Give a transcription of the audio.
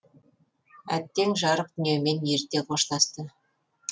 әттең жарық дүниемен ерте қоштасты